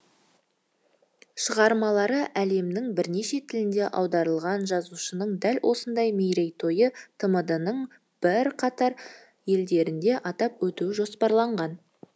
шығармалары әлемнің бірнеше тіліне аударылған жазушының дәл осындай мерейтойы тмд ның бірқатар елдерінде атап өту жоспарланған